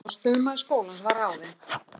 Forstöðumaður skólans var ráðinn